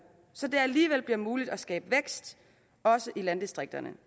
så det alligevel bliver muligt at skabe vækst også i landdistrikterne